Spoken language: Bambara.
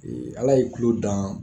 Ala ye tulo dan